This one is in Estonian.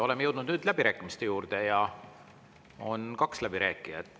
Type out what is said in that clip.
Oleme nüüd jõudnud läbirääkimiste juurde ja on kaks läbirääkijat.